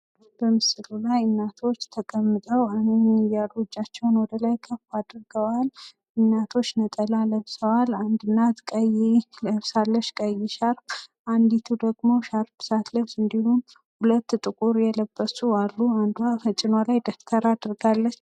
በምስሉ ላይ እናቶች ተቀምጠው እጃቸውን ወደ ላይ ከ አድርገዋል ። እናቶች ነጠላ ለብሰዋል አንድ እናት ቀይ ለብሳለች። ቀይ ሻርፕ አንዲቱ ደግሞ ሻርፕ ሳትለብስ እንዲሁ ሁለት ጥቁር የለበሱ አሉ። አንዷ ከጭኗ ላይ ደብተር አድርጋለች።